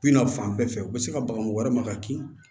Dunanw fan bɛɛ fɛ u bɛ se ka bagan wɛrɛ ma ka kin